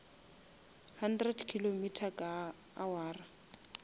hundred kilometer ka awara